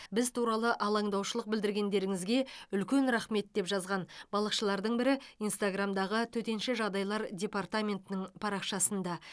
біз туралы алаңдаушылық білдіргендеріңізге үлкен рахмет деп жазған балықшылардың бірі инстаграммдағы төтенше жағдайлар департаментінің парақшасында